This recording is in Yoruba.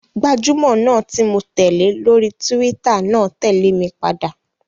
Gbajúmọ̀ náà ti mó tẹ̀lé lórí túwítà náà tẹ̀lé mi padà